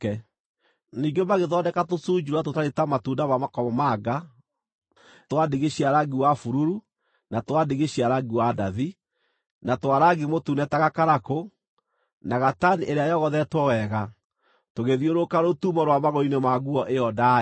Ningĩ magĩthondeka tũcunjuura tũtariĩ ta matunda ma makomamanga, twa ndigi cia rangi wa bururu, na twa ndigi cia rangi wa ndathi, na twa rangi mũtune ta gakarakũ, na gatani ĩrĩa yogothetwo wega, tũgĩthiũrũrũka rũtumo rwa magũrũ-inĩ ma nguo ĩyo ndaaya.